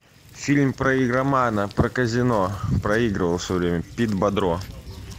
фильм про игромана про казино проигрывал все время пит бодро